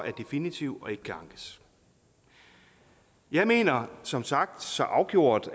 er definitiv og ikke kan ankes jeg mener som sagt så afgjort